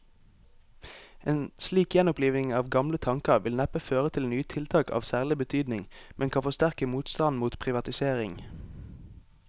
En slik gjenoppliving av gamle tanker vil neppe føre til nye tiltak av særlig betydning, men kan forsterke motstanden mot privatisering.